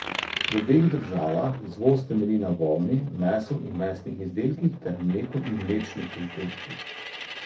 V obeh državah izvoz temelji na volni, mesu in mesnih izdelkih ter mleku in mlečnih izdelkih.